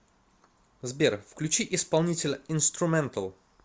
сбер включи исполнителя инструментал